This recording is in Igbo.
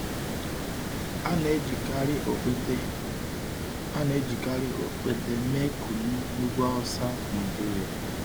A na-ejikarị ọkpete A na-ejikarị ọkpete mee kunu n’ugwu Hausa, Nigeria.